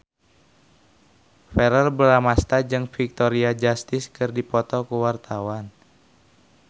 Verrell Bramastra jeung Victoria Justice keur dipoto ku wartawan